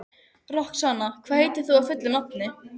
Guðmundur var allra manna hæstur en lítillega boginn í baki.